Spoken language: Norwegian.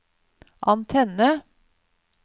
antenne